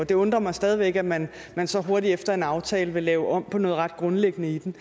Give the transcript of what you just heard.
det undrer mig stadig væk at man man så hurtigt efter en aftale vil lave om på noget ret grundlæggende i den